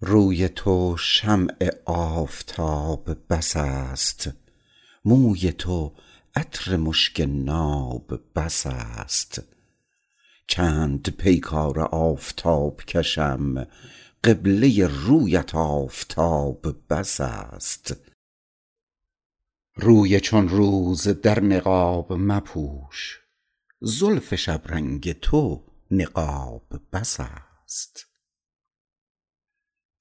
روی تو شمع آفتاب بس است موی تو عطر مشک ناب بس است چند پیکار آفتاب کشم قبله رویت آفتاب بس است روی چون روز در نقاب مپوش زلف شبرنگ تو نقاب بس است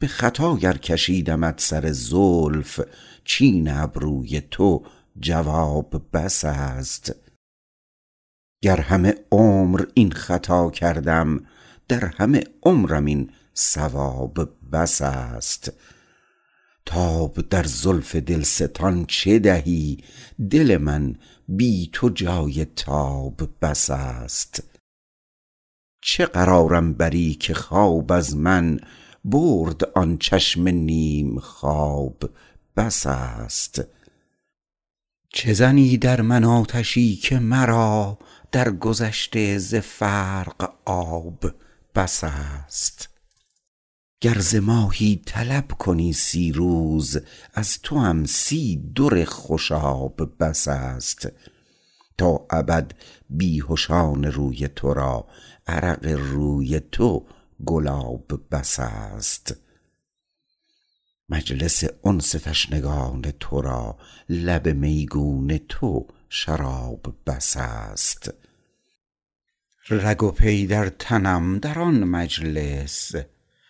به خطا گر کشیدمت سر زلف چین ابروی تو جواب بس است گر همه عمر این خطا کردم در همه عمرم این صواب بس است تاب در زلف دلستان چه دهی دل من بی تو جای تاب بس است چه قرارم بری که خواب از من برد آن چشم نیم خواب بس است چه زنی در من آتشی که مرا در گذشته ز فرق آب بس است گر ز ماهی طلب کنی سی روز از توام سی در خوشاب بس است تا ابد بیهشان روی تو را عرق روی تو گلاب بس است مجلس انس تشنگان تو را لب میگون تو شراب بس است رگ و پی در تنم در آن مجلس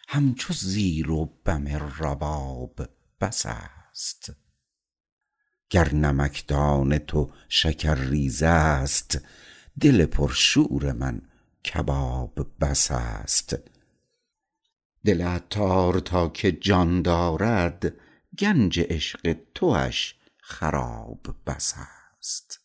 همچو زیر و بم رباب بس است گر نمکدان تو شکر ریز است دل پر شور من کباب بس است دل عطار تا که جان دارد کنج عشق تو را خراب بس است